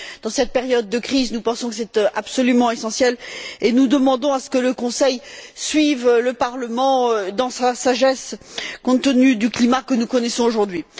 En cette période de crise, nous pensons que c'est absolument essentiel et nous demandons que le Conseil suive le Parlement dans sa sagesse compte tenu du climat que nous connaissons aujourd'hui.